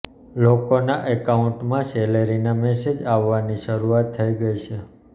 લોકોના એકાઉન્ટમાં સેલરીના મેસેજ આવવાની શરૂઆત થઈ ગઈ છે